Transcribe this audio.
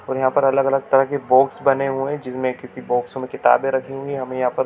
और यहाँ पर अलग अलग तरह के बॉक्स बने हुएं हैं जिनमें किसी बॉक्सों में किताबे रखी हुईं हैं हमें यहाँ पर--